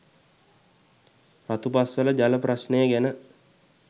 රතුපස්වල ජල ප්‍රශ්නය ගැන